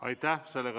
Aitäh!